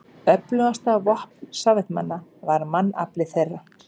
Öflugasta vopn Sovétmanna var mannafli þeirra.